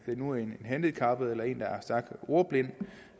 nu er en handicappet eller en der er stærkt ordblind